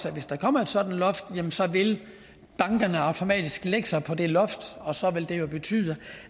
at hvis der kommer et sådant loft vil bankerne automatisk lægge sig på det loft og så vil det betyde